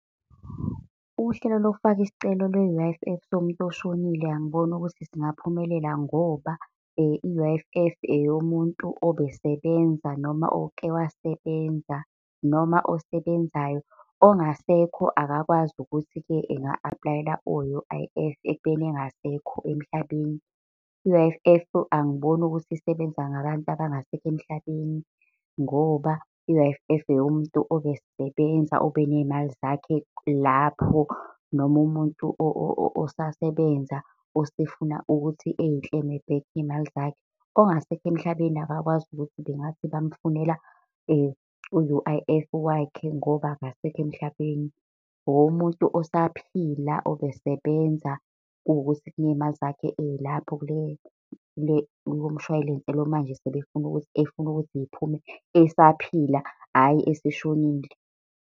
Uhlelo lokufaka isicelo, lwe-U_I_F somuntu oshonile angiboni ukuthi singaphumelelanga ngoba i-U_I_F eyomuntu obesebenza noma oke wasebenza noma osebenzayo. Ongasekho akakwazi ukuthi-ke anga-aplayela o-U_I_F, ekubeni engasekho emhlabeni. I-U_I_F angiboni ukuthi isebenza ngabantu abangasekho emhlabeni ngobai-U_I_F, eyomuntu obesebenza, obeney'mali zakhe lapho. Noma umuntu osasebenza osefuna ukuthi eyi-claim-e back iy'mali zakhe. Ongasekho emhlabeni akakwazi ukuthi bengathi bamfunela u-U_I_F Iwakhe ngoba akasekho emhlabeni. Owomuntu osaphila obesebenza kuwukuthi kuney'mali zakhe ey'lapho kulo mshwalense lo, manje sebefuna ukuthi, efuna ukuthi ziphume esaphila, hhayi eseshonile.